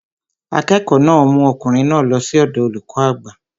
Akẹ́kọ̀ọ́ náà mú ọkùnrin náà lọ sí ọ̀dọọ olùkọ́ àgbà